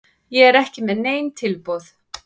Ég er ekki með nein tilboð.